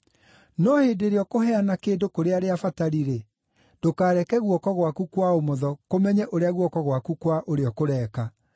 No hĩndĩ ĩrĩa ũkũheana kĩndũ kũrĩ arĩa abatari-rĩ, ndũkareke guoko gwaku kwa ũmotho kũmenye ũrĩa guoko gwaku kwa ũrĩo kũreeka,